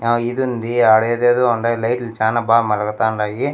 ఆ ఇదుంది ఆడేదేదో ఉండాయ్ లైట్లు చానా బా మలగతాండాయి.